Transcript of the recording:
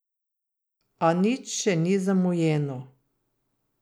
A nič še ni zamujeno.